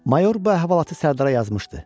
Mayor bu əhvalatı Sərdara yazmışdı.